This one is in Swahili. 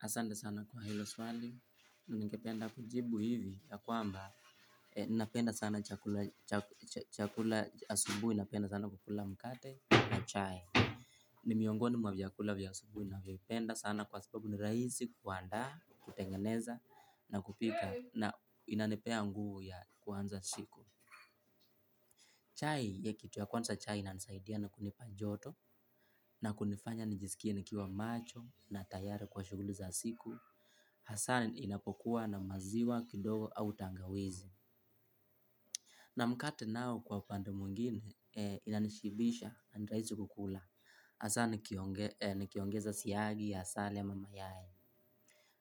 Asante sana kwa hilo swali, ningependa kujibu hivi ya kwamba, ninapenda sana chakula asubuhi napenda sana kukula mkate na chai. Ni miongoni mwa vyakula vya asubuhi navipenda sana kwa sababu ni rahisi kuandaa, kutengeneza na kupika na inanipea nguvu ya kuanza siku. Chai ya kitu ya kwanza chai inanisaidia na kunipa joto na kunifanya nijisikie nikiwa macho na tayari kwa shughuli za siku. Hasa inapokuwa na maziwa kidogo au tangawizi na mkate nao kwa upande mwingine inanishibisha na ni rahisi kukula hasa nikiongeza siagi asali ama mayai